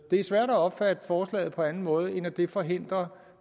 er svært at opfatte forslaget på anden måde end at det forhindrer